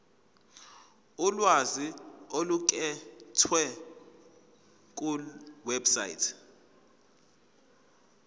ulwazi oluqukethwe kulewebsite